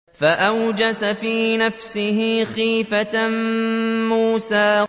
فَأَوْجَسَ فِي نَفْسِهِ خِيفَةً مُّوسَىٰ